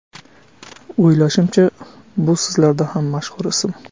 O‘ylashimcha, bu sizlarda ham mashhur ism.